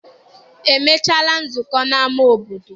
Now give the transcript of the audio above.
E mechaala nzụko n'ama obodo?